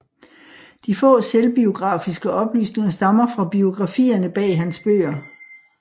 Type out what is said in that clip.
De få selvbiografiske oplysninger stammer fra biografierne bag på hans bøger